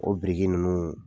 O biriki ninnu